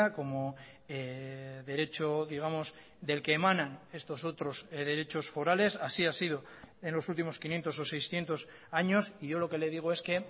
como derecho digamos del que emanan estos otros derechos forales así ha sido en los últimos quinientos o seiscientos años y yo lo que le digo es que